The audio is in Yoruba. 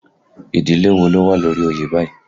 Ìdílé wo ló wà lórí oyè báyìí?